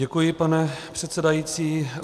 Děkuji, pane předsedající.